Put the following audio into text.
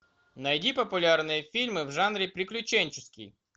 найди популярные фильмы в жанре приключенческий